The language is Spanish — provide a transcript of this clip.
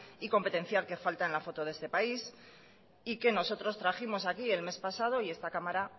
y competencial que falta en la foto de este país y que nosotros trajimos aquí el mes pasado y esta cámara